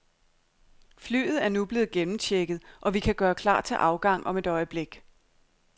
Flyet er nu blevet gennemchecket, og vi kan gøre klar til afgang om et øjeblik.